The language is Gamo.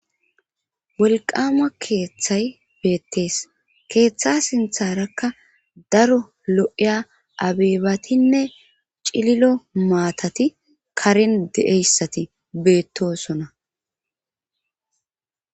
bolqama keeththay beettees keeththa sintharakka daro lo7eya abeebatinne cililo maatati karen de7eyssati beettosona